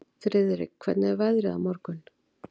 Friðrik, hvernig er veðrið á morgun?